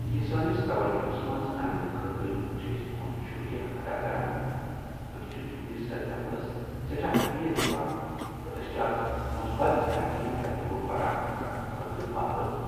یہ سٲنس توجووس منٛز اننہٕ خٲطرٕ چھ أسۍ تُہند شکریہ ادا کران۔ أسۍ چھ تہنٛدس ردعملس سیٚٹھاہ اہمیت دوان، تہٕ أسۍ چھ اکھ مثبت بینکنگ تجربہٕ فراہم کرنہٕ خٲطرٕ پابند۔